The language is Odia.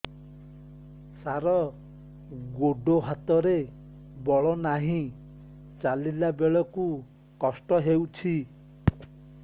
ସାର ଗୋଡୋ ହାତରେ ବଳ ନାହିଁ ଚାଲିଲା ବେଳକୁ କଷ୍ଟ ହେଉଛି